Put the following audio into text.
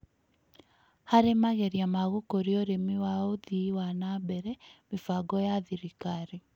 Harĩ mageria ma gũkũria ũrĩmi wa ũthii wa na mbere, mĩbango ya thirikari